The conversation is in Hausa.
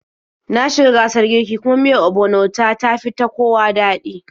Na shi ga gasar kiirki, kuma miyar ogbono ta, tafi ta kowa daɗi